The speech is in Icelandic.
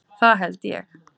Það held ég.